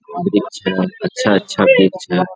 वृक्ष है अच्छा-अच्छा वृक्ष है |